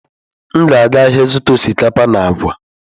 M ga-aga ahịa ịzụta osikapa na agwa.